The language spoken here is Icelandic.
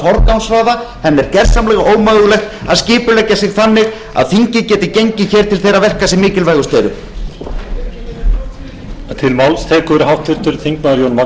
forgangsraða henni er gersamlega ómögulegt að skipuleggja sig þannig að þingið geti gengið hér til þeirra verka sem mikilvægust eru